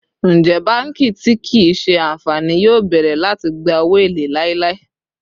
Njẹ banki ti kii ṣe anfani yoo bẹrẹ lati gba owo ele lailai?